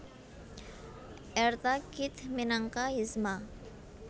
Eartha Kitt minangka Yzma